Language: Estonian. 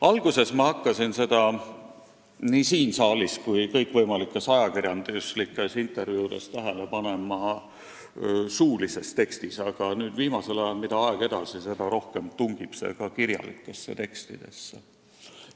Alguses ma hakkasin seda nii siin saalis kui kõikvõimalikes ajakirjanduslikes intervjuudes tähele panema suulises tekstis, aga nüüd, mida aeg edasi, seda rohkem tungib see ka kirjalikesse tekstidesse.